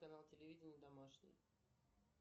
канал телевидения домашний